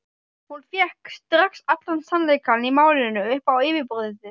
Hún fékk strax allan sannleikann í málinu upp á yfirborðið.